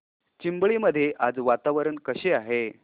चिंबळी मध्ये आज वातावरण कसे आहे